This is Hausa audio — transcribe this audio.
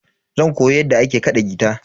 Zan koyi yadda ake kaɗa gita.